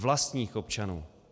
Vlastních občanů.